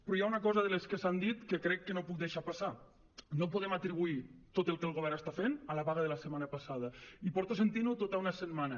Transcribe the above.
però hi ha una cosa de les que s’han dit que crec que no puc deixar passar no podem atribuir tot el que el govern està fent a la vaga de la setmana passada i porto sentint ho tota una setmana